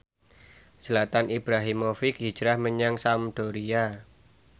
Zlatan Ibrahimovic hijrah menyang Sampdoria